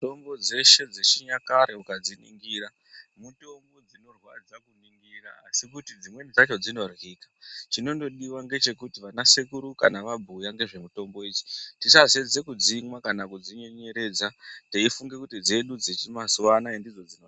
Mitombo dzeshe dzechinyakare tikadziningira mitombo inorwadza kuningira asi chinondodiwa ndechekuti vana sekuru kana vabhuya nezvemitombo tisazeza kudzimwa kana teifynga kuti dzedu dzemazuva ano.